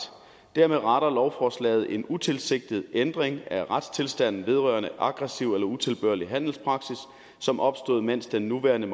dermed retter lovforslaget en utilsigtet ændring af retstilstanden vedrørende aggressiv eller utilbørlig handelspraksis som opstod mens den nuværende